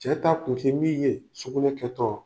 Cɛ ta kun tɛ min ye sukunɛ kɛtɔ